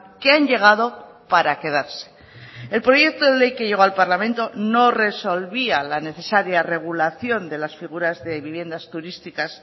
que han llegado para quedarse el proyecto de ley que llegó al parlamento no resolvía la necesaria regulación de las figuras de viviendas turísticas